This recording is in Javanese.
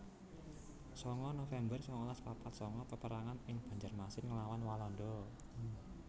sanga november sangalas papat sanga Peperangan ing Banjarmasin nglawan Walanda